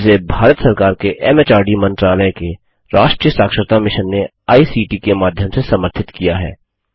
जिसे भारत सरकार के एमएचआरडी मंत्रालय के राष्ट्रीय साक्षरता मिशन ने आई सीटी के माध्यम से समर्थित किया है